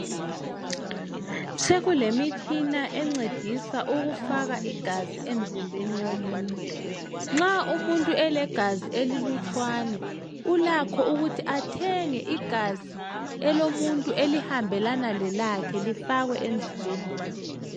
sokulemitshina encedisa ukufaka igazi emzimbeni womuntu nxa umuntu elegazi elilutshwane ulakho ukuthi athenge igazi elomuntu elihambelana lelakhe lifakwe emzimbeni wakhe